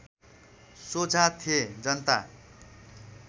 सोझा थे जनता